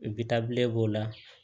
b'o la